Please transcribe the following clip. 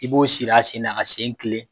I b'o siri a sen na, ka sen kilen